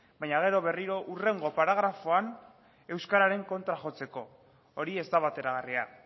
baina gero berriro hurrengo paragrafoan euskararen kontra jotzeko hori ez da bateragarria